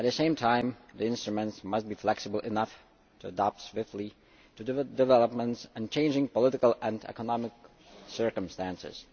At the same time, the instruments must be flexible enough to adapt swiftly to developments and changing political and economic circumstances.